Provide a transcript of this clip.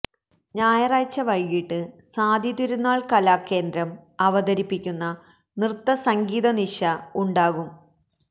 ഞായറാഴ്ച വൈകീട്ട് സ്വാതി തിരുനാൾ കലാകേന്ദ്രം അവതരിപ്പിക്കുന്ന നൃത്ത സംഗീതനിശ ഉണ്ടാകും